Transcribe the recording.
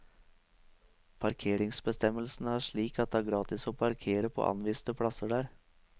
Parkeringsbestemmelsene er slik at det er gratis å parkere på anviste plasser der.